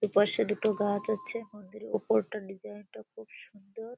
দুপাশে দুটো গাছ আছে। মন্দিরের ওপরটা ডিসাইন -টা খুব সুন্দর।